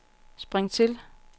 spring til